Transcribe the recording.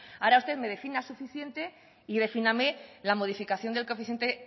claro ahora usted me defina suficiente y defíname la modificación del coeficiente